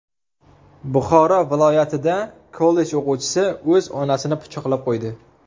Buxoro viloyatida kollej o‘quvchisi o‘z onasini pichoqlab qo‘ydi.